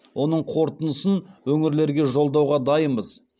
оның қорытындысын өңірлерге жолдауға дайынбыз